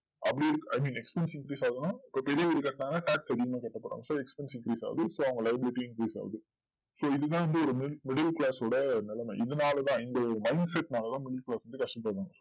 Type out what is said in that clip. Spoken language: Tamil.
அப்டி இருக்கு expensive increase ஆகுதுன இப்போ பெரிய வீடு கட்ராங்கான காஸ் அதிகமா கட்ட போறாங்க so expensive increase ஆகுது so அவங்க duty increase ஆகுது so இதுதான் வந்து middle class ஓட நிலமை இதுனாலதா இந்த mindset நாளைத middle class ரொம்ப கஷ்டப்படுறோம்